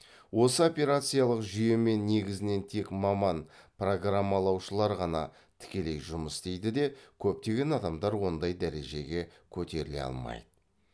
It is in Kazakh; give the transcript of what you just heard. осы операциялық жүйемен негізінен тек маман программалаушылар ғана тікелей жұмыс істейді де көптеген адамдар ондай дәрежеге көтеріле алмайды